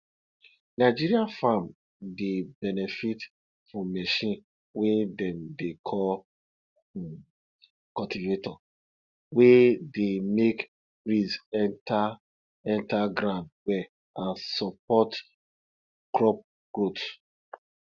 nigeria farm dey benefit from machine wey dem dey call um cultivator wey dey make breeze enter enter ground well and support crop growth